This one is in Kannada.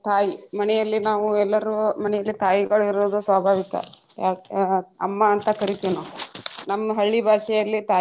ತಾಯಿ ಮನೆಯಲ್ಲಿ ನಾವು ಎಲ್ಲರೂ ಮನೆಯಲ್ಲಿ ತಾಯಿಗಳು ಇರುವುದು ಸ್ವಾಭಾವಿಕ ಅಮ್ಮಾ ಅಂತ ಕರಿತೇವ್ ನಾವ್. ನಮ್ಮ ಹಳ್ಳಿ ಬಾಷೆಯಲ್ಲಿ ತಾಯಿಗೆ.